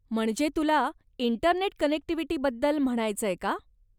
म्हणजे तुला इंटरनेट कनेक्टिव्हिटीबद्दल म्हणायचंय का?